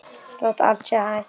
Þótt allt sé hætt?